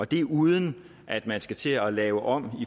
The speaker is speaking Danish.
det er uden at man skal til at lave om